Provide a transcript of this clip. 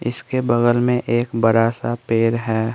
इसके बगल में एक बड़ा सा पेड़ है।